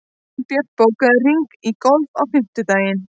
Gunnbjört, bókaðu hring í golf á fimmtudaginn.